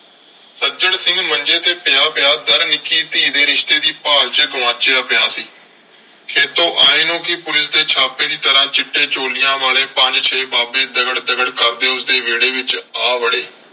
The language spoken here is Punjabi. ਸੱਜਣ ਸਿੰਘ ਮੰਜੇ ਤੇ ਪਿਆ ਪਿਆ . ਨਿੱਕੀ ਧੀ ਦੇ ਰਿਸ਼ਤੇ ਦੀ ਭਾਲ ਚ ਗੁਆਚਿਆ ਪਿਆ ਸੀ। ਖੇਤੋਂ ਆਏ ਨੂੰ ਵੀ ਪੁਲਿਸ ਦੇ ਛਾਪੇ ਦੀ ਤਰ੍ਹਾਂ ਚਿੱਟੇ ਚੋਲਿਆਂ ਵਾਲੇ ਪੰਜ ਛੇ ਬਾਬੇ ਦਗੜ ਦਗੜ ਕਰਦੇ ਉਸਦੇ ਵਿਹੜੇ ਵਿਚ ਆ ਵੜੇ।